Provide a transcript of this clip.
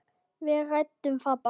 Við ræddum það bara.